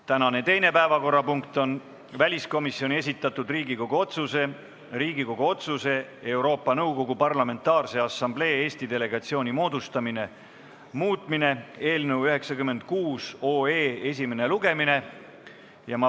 Tänane teine päevakorrapunkt on väliskomisjoni esitatud Riigikogu otsuse "Riigikogu otsuse "Euroopa Nõukogu Parlamentaarse Assamblee Eesti delegatsiooni moodustamine" muutmine" eelnõu 96 esimene lugemine.